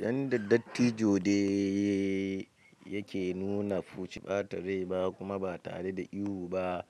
Yanda dattijo dai yake nuna fushi ba tare ɓata rai ba kuma ba tare da ihu ba.